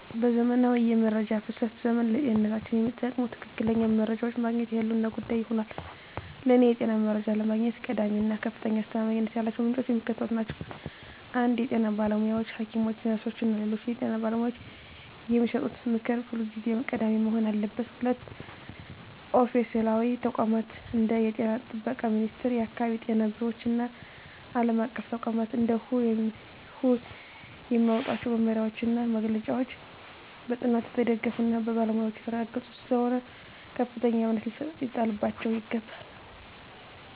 በዘመናዊው የመረጃ ፍሰት ዘመን፣ ለጤንነታችን የሚጠቅሙ ትክክለኛ መረጃዎችን ማግኘት የህልውና ጉዳይ ሆኗል። ለእኔ የጤና መረጃ ለማግኘት ቀዳሚ እና ከፍተኛ አስተማማኝነት ያላቸው ምንጮች የሚከተሉት ናቸው 1) የጤና ባለሙያዎች: ሐኪሞች፣ ነርሶች እና ሌሎች የጤና ባለሙያዎች የሚሰጡት ምክር ሁልጊዜም ቀዳሚ መሆን አለበት። 2)ኦፊሴላዊ ተቋማት: እንደ የጤና ጥበቃ ሚኒስቴር፣ የአካባቢ ጤና ቢሮዎች እና ዓለም አቀፍ ተቋማት (እንደ WHO) የሚያወጧቸው መመሪያዎችና መግለጫዎች በጥናት የተደገፉና በባለሙያዎች የተረጋገጡ ስለሆኑ ከፍተኛ እምነት ሊጣልባቸው ይገባል።